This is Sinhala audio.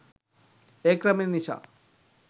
ඒ ක්‍රමය නිසා